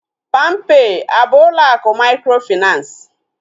Palm pay a bụ ụlọ akụ mikrofinansi?